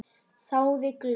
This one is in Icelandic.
Þáði glöð.